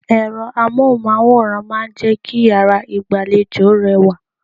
Ẹ̀rọ Amóhùnmáwòrán máa ń jẹ́ kí yàrá ìgbàlejò rẹwà.